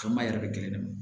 Faama yɛrɛ bɛ kelen de ye